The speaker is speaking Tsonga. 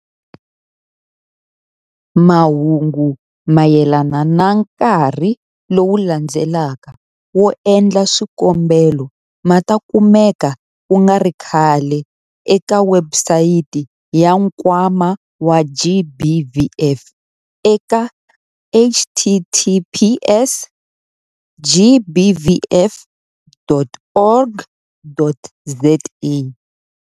Mahungu mayelana na nkarhi lowu landzelaka wo endla swikombelo ma ta kumeka ku nga ri khale eka webusayiti ya Nkwama wa GBVF eka- https- gbvf.org.za.